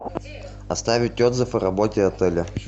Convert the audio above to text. оставить отзыв о работе отеля